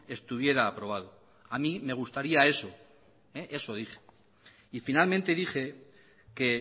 estuviera aprobado a mí me gustaría eso eso dije y finalmente dije que